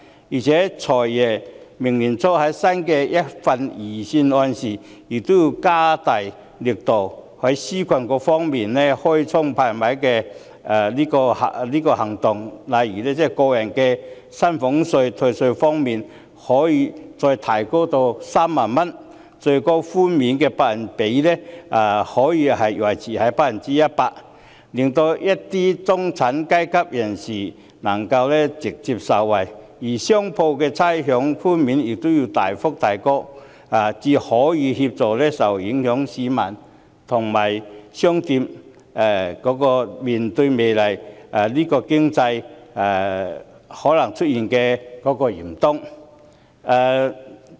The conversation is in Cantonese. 而且，"財爺"在明年年初的新一份財政預算案中，也要加大力度，在紓困方面推出"開倉派米"行動，例如可以將個人薪俸稅退稅上限提高至3萬元，把最高寬免的百分比維持在 100%， 令一些中產階級能夠直接受惠；而商鋪的差餉寬免也要大幅提高，才能夠協助受影響市民和商鋪面對經濟可能出現的嚴冬。